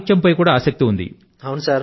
సాహిత్యం అన్నా కూడా మీకు ఆసక్తి ఉంది